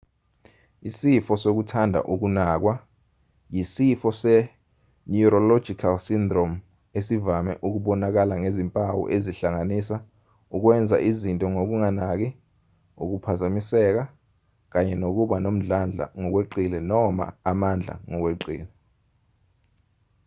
isifo sokuthanda ukunakwa yisifo se-neurological syndrome esivame ukubonakalangezimpawu ezihlanganisa ukwenza izinto ngokunganaki ukuphazamiseka kanye nokuba nomdlandla ngokweqile noma amandla ngokweqile